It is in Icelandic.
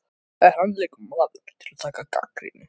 En hann er líka maður til að taka gagnrýni.